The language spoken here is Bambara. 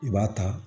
I b'a ta